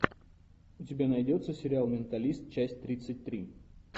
у тебя найдется сериал менталист часть тридцать три